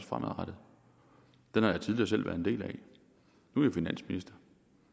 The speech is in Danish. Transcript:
bare lidt ved